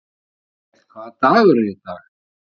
Arnkell, hvaða dagur er í dag?